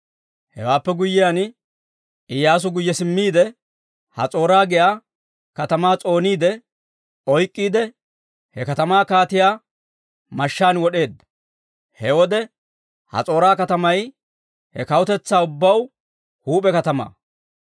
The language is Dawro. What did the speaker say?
Hewaappe guyyiyaan Iyyaasu guyye simmiide, Has'oora giyaa katamaa s'ooniide oyk'k'iide he katamaa kaatiyaa mashshaan wod'eedda. He wode Has'oora katamay he kawutetsaa ubbaw huup'e katamaa.